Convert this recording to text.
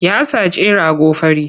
Ya saci rago fari.